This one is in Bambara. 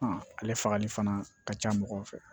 ale fagali fana ka ca mɔgɔw fɛ